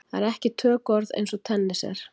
Það er ekki tökuorð eins og tennis er.